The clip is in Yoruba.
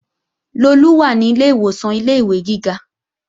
Lolú wà ní ilé ìwòsàn ilé-ìwé gíga